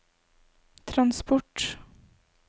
transport